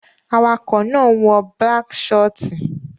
Awakọ̀ náà wọ balck shiort